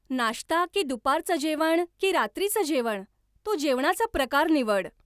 नाश्ता की दुपारचं जेवण की रात्रीचं जेवण, तो जेवणाचा प्रकार निवड.